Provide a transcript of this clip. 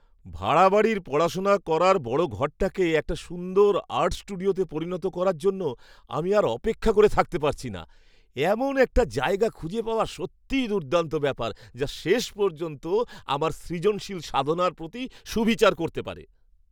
ভাড়া বাড়ির পড়াশোনার করার বড় ঘরটাকে একটা সুন্দর আর্ট স্টুডিওতে পরিণত করার জন্য আমি আর অপেক্ষা করে থাকতে পারছি না! এমন একটা জায়গা খুঁজে পাওয়া সত্যিই দুর্দান্ত ব্যাপার যা শেষ পর্যন্ত আমার সৃজনশীল সাধনার প্রতি সুবিচার করতে পারে।